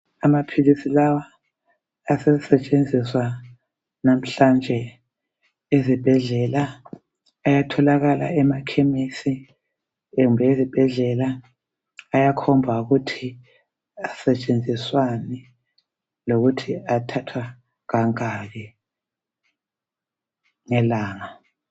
Amaphilisi lawa asesetshenziswa namhlanje ezibhedlela ayatholakala emakhemisi kumbe esibhedlela ayakhomba ukuthi asetshenziswani lokuthi athathwa kangaki ngelanga